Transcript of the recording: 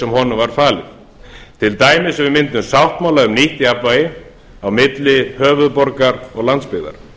sem honum var falið til dæmis við myndun sáttmála um nýtt jafnvægi á milli höfuðborgar og landsbyggðar